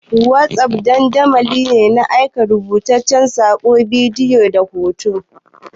Wossof dandamali ne na aika rubutaccen saƙo, bidiyo da hoto.